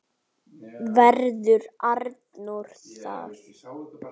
Verður Arnór þar?